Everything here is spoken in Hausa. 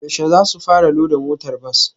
Yaushe zasu fara loda motar bas?